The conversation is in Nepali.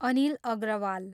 अनिल अग्रवाल